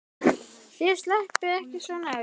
LÁRUS: Þér sleppið ekki svona billega.